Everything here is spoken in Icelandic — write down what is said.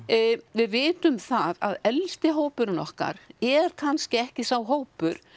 við vitum það að elsti hópurinn okkar er kannski ekki sá hópur